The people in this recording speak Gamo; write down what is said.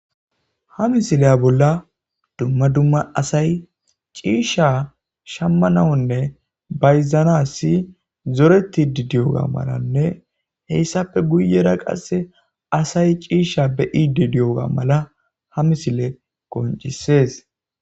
ha misileya bolla dumma dumma asay ciisha shammanawonne bayzanassi zoretti didiyoga malanne heyssappe guyera qasse asay ciisha beyi didiyoga mala ha misile goncisees